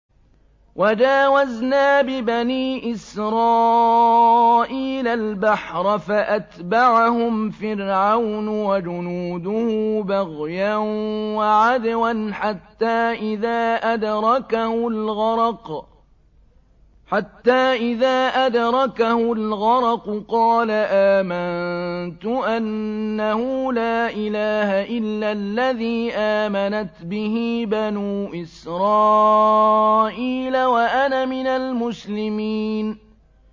۞ وَجَاوَزْنَا بِبَنِي إِسْرَائِيلَ الْبَحْرَ فَأَتْبَعَهُمْ فِرْعَوْنُ وَجُنُودُهُ بَغْيًا وَعَدْوًا ۖ حَتَّىٰ إِذَا أَدْرَكَهُ الْغَرَقُ قَالَ آمَنتُ أَنَّهُ لَا إِلَٰهَ إِلَّا الَّذِي آمَنَتْ بِهِ بَنُو إِسْرَائِيلَ وَأَنَا مِنَ الْمُسْلِمِينَ